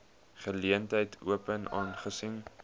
geleentheid open aangesien